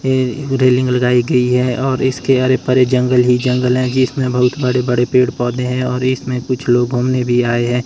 ये रेलिंग लगाई गई है और इसके अरे परे जंगल ही जंगल है जिसमें बहुत बड़े बड़े पेड़ पौधे हैं और इसमें कुछ लोग घूमने भी आए है।